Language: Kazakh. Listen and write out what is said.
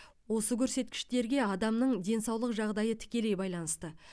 осы көрсеткіштерге адамның денсаулық жағдайы тікелей байланысты